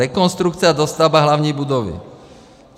Rekonstrukce a dostavba hlavní budovy.